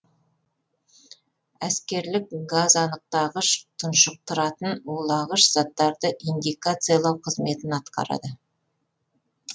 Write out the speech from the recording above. әскерлік газанықтағыш тұншықтыратын улағыш заттарды индикациялау қызметін атқарады